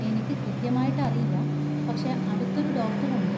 എനിക്ക് കൃത്യമായിട്ട് അറിയില്ല, പക്ഷെ അടുത്തൊരു ഡോക്ടർ ഉണ്ട്.